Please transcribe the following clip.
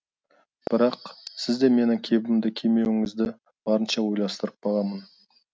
бірақ сіз де менің кебімді кимеуіңізді барынша ойластырып бағамын